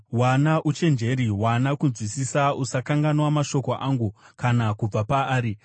Wana uchenjeri, wana kunzwisisa; usakanganwa mashoko angu kana kubva paari.